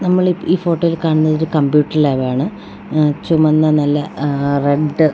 നമ്മളീ ഈ ഫോട്ടോയില് കാണുന്നതൊരു കംപ്യൂട്ടർ ലാബാണ് ആഹ് - ചുമന്ന നല്ല -ആഹ് - റെഡ്